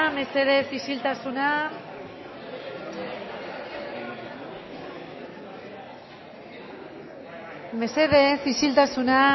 mesedez isiltasuna mesedez isiltasuna